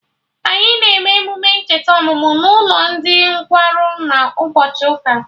Anyị na eme emume ncheta ọmụmụ n'ụlọ ndị nkwarụ na ụbọchị ụka